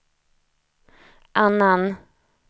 annan